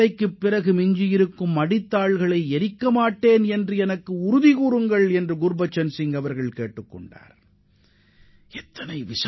பெண் வீட்டார் அவர்களது விளை நிலங்களில் வைக்கோல் மற்றும் வேளாண் கழிவுகளை எரிக்க மாட்டோம் என உறுதியளிக்க வேண்டும் என்பதே அவர் விதித்த நிபந்தனையாகும்